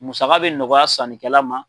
Musaka bɛ nɔgɔya sannikɛla ma.